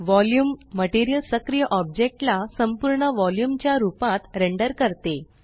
volume material सक्रिय object ला संपूर्ण वॉल्यूम च्या रूपात रेंडर करते